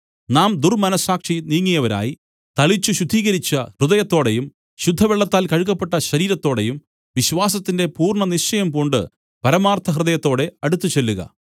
നാം ദുർമ്മനസ്സാക്ഷി നീങ്ങിയവരായി തളിച്ചു ശുദ്ധീകരിച്ച ഹൃദയത്തോടെയും ശുദ്ധവെള്ളത്താൽ കഴുകപ്പെട്ട ശരീരത്തോടെയും വിശ്വാസത്തിന്റെ പൂർണ്ണനിശ്ചയം പൂണ്ട് പരമാർത്ഥ ഹൃദയത്തോടെ അടുത്തു ചെല്ലുക